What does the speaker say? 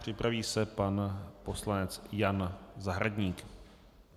Připraví se pan poslanec Jan Zahradník.